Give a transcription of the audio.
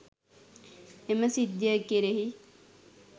එම සිද්ධිය කෙරෙහි